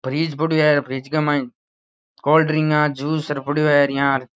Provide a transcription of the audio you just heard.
Fridge पड़यो है fridge के माय कोल्ड्रिंक जूस पड़यो है र ईया।